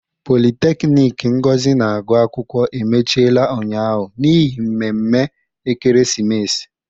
Politekiniiki Ngozi na-agụ akwụkwọ emechiela ụnyaahụ n'ihi mmemme ekeresimesi.